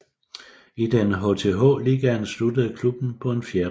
I den HTH Ligaen sluttede klubben på en fjerdeplads